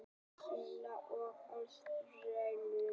Kína og Ástralíu.